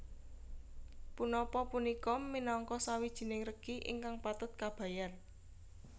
Punapa punika minangka sawijining regi ingkang patut kabayar